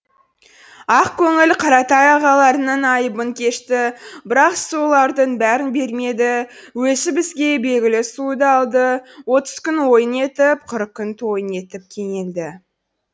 ақ көңіл қаратай ағаларының айыбын кешті бірақ сұлулардың бәрін бермеді өзі бізге белгілі сұлуды алды отыз күн ойын етіп қырық күн тойын етіп кенелді